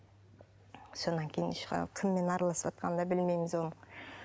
содан кейін кіммен араласыватқанын да білмейміз оның